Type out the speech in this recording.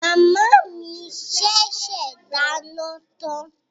Màmá mi sẹsẹ dà iná tàn.